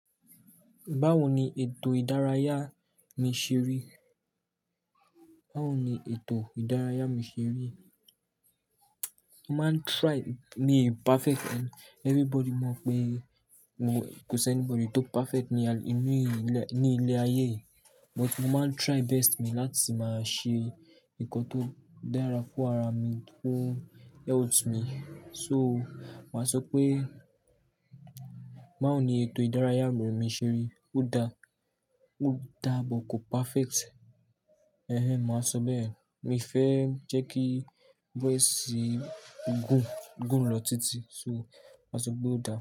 Báwo ni ètò ìdárayá mi ṣe rí? Báwo ni ètò ìdárayá mi ṣe rí? Mi n perfect and everybody mọ pé kò sí anybody tó perfect ní, inú ní ilé ayé but mo máa ń try best mi láti máa ṣe nǹkan tó dára fún ara mi, fún health me. So, màá sọ pé báwo ni ètò ìdárayá àwọn ènìyàn ṣe rí? Ó dá, ó dá bó kò perfect. Eh-hen, màá sọ bẹ́ẹ̀. Mi fẹ́ jẹ́ kí voice gùn, gùn lọ títí so màá sọ pé ó dá.